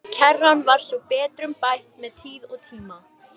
Kerran var svo betrumbætt með tíð og tíma.